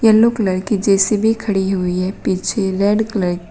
yellow colour की J C B खड़ी हुई है पीछे रेड कल --